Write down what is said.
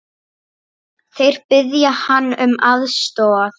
Þeir biðja hann um aðstoð.